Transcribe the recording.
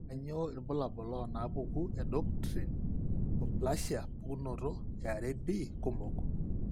Kainyo irbulabul onaapuku e endocrine neoplasia pukunoto eareB kumok?